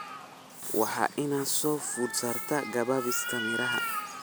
Waxa ina soo food saartay gabaabsi miraha.